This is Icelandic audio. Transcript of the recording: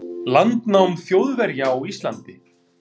landnám Þjóðverja á Íslandi.